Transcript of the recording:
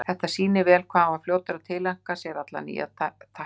Þetta sýnir vel hvað hann var fljótur að tileinka sér alla nýja tækni.